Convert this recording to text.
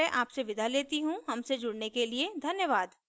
I I T Bombay से मैं श्रुति आर्य आपसे विदा लेती हूँ हमसे जुड़ने के लिए धन्यवाद